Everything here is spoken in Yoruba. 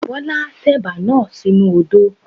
Bọ́lá tẹ̀bà náà sínu odó.